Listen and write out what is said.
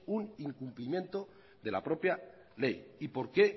un incumplimiento de la propia ley y por qué